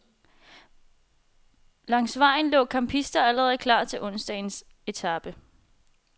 Langs vejen lå campisterne allerede klar til onsdagens etape.